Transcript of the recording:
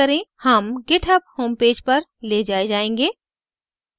हम github homepage पर we जाए जायेंगे